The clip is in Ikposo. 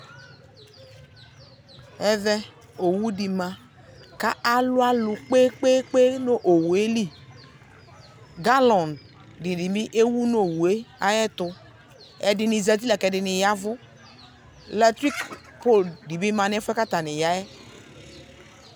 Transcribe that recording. Ɛvɛ, owʋ di ma kʋ alʋ alʋ kpekpeekpe nʋ owʋ yɛ li Galɔŋ di ni bi ewu nʋ owʋ e ayɛtʋ Ɛdini zati la kʋ ɛdini yavʋ Latriki polʋ di bi ma nʋ ɛfuɛ boa kʋ atani ya yɛ